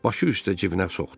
Başı üstə cibinə soxdu.